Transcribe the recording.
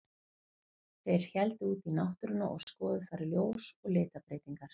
Þeir héldu út í náttúruna og skoðuðu þar ljós og litabreytingar.